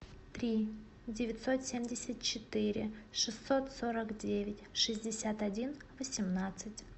три девятьсот семьдесят четыре шестьсот сорок девять шестьдесят один восемнадцать